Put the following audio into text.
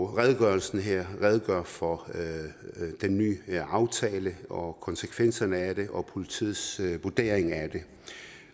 redegørelsen her redegør for den nye aftale og konsekvenserne af den og politiets vurdering af den